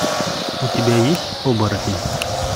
у тебя есть оборотень